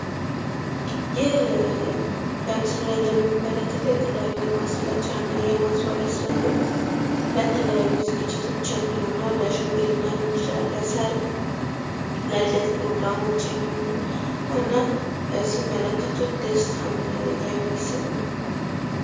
ይህ በምስሉ ላይ የምንመልከተው የተላያዩ የማስጌጫና ማስዋቢያ ነው። ለሰረግ ለልደት የሚያገለገል ሲያዩት ደስ የሚል ቦታ ነው።